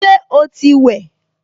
Ṣé o ti wẹ̀?